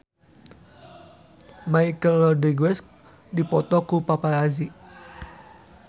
Michelle Rodriguez dipoto ku paparazi